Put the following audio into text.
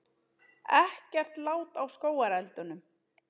Ekkert lát á skógareldunum